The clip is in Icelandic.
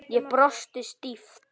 Ég brosi stíft.